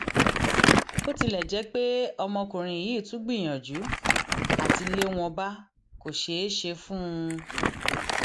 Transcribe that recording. bó tilẹ jẹ pé ọmọkùnrin yìí tún gbìyànjú àti lé wọn bá kò ṣeé ṣe fún un